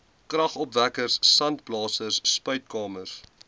kragopwekkers sandblasers spuitkamers